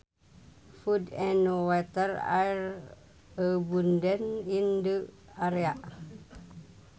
Food and water are abundant in the area